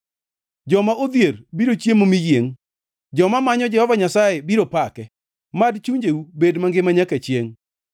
Joma odhier biro chiemo mi yiengʼ; joma manyo Jehova Nyasaye biro pake, mad chunjeu bed mangima nyaka chiengʼ!